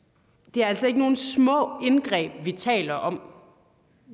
det er altså ikke nogle små indgreb vi taler om